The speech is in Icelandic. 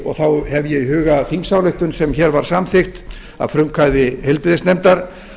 og þá hef ég í huga þingsályktun sem hér var samþykkt að frumkvæði heilbrigðisnefndar